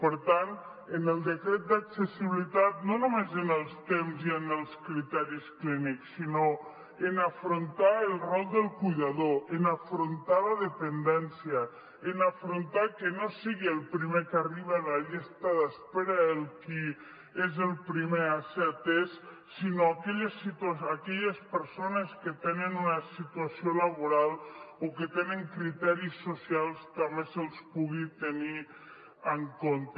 per tant en el decret d’accessibilitat no només en els temps i en els criteris clínics sinó en afrontar el rol del cuidador en afrontar la dependència en afrontar que no sigui el primer que arriba a la llista d’espera el qui és el primer a ser atès sinó aquelles persones que tenen una situació laboral o que tenen criteris socials que també se’ls pugui tenir en compte